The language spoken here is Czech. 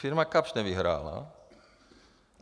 Firma Kapsch nevyhrála.